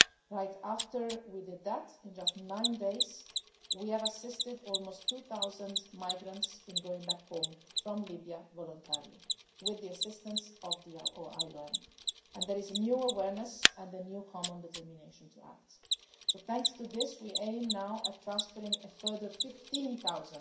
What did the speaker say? Right after we did that, in just nine days, we have assisted almost 2000 migrants in going back home from Libya voluntarily with the assistance of the IOM and there is a new awareness and a new common determination to act. So thanks to this we now aim to transfer a further 15